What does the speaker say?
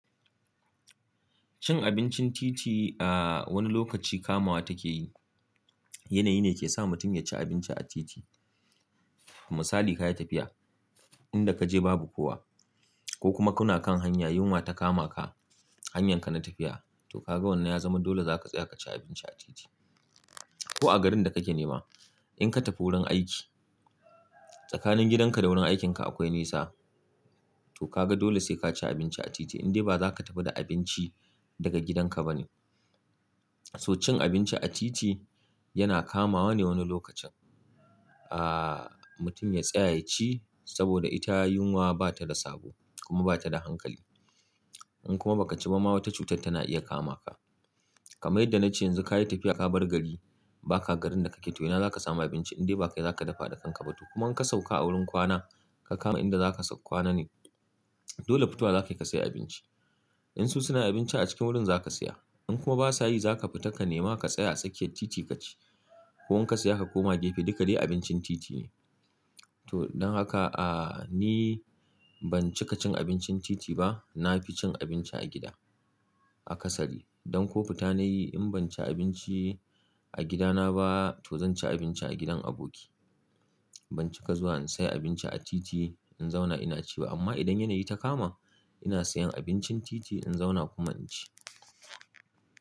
Cin abincin titi, ah wani lokaci kamawa take yi. Yanayi ne ke sa mutum ya ci abinci a titi. Kuma misali ka yi tafiya, inda ka je babu kowa ko kuma kuna kan hanya yunwa ta kama ka hanyarka na tafiya, to ka ga wannan ya zama dole za ka tsaya ka ci abinci a titi. Ko a garin da kake nema in ka tafi wurin aiki tsakanin gidanka da wurin aikinka akwai nisa to ka ga dole sai ka ci abinci a titi indai ba za ka tafi da abinci daga gidanka ba ne. So cin abinci a titi yana kamawa ne wani lokacin. Ah mutum ya tsaya ya ci saboda ita yunwa ba ta da sabo kuma ba ta da hankali. In kuma ba ka ci ba ma wata cutar tana iya kamaka. Kamar yanda na ce yanzu ka yi tafiya ka bar gari baka garin da kake to ina zaka samu abinci indai ba kai zaka dafa da kanka ba to. Kuma in ka sauka a wurin kwana ka kama inda za ka kwana ne dole fitowa za ka yi ka sayi abinci. In su suna abinci a cikin wurin za ka saya. In kuma ba su yi za ka fita ka nema ka tsaya a tsakiyar titi ka ci ko kuma ka saya ka koma gefe duka dai abincin titi ne. To don haka ah ni ban cika cin abincin titi ba. Na fi cin abinci a gida, a kasari. Don ko fita na yi in ban ci abinci a gidana ba to zan ci abinci a gidan aboki. Ban cika zuwa in sayi abinci a titi in zauna ina ci ba. Amma idan yanayi ta kama ina sayan abincin titi in zauna kuma in ci.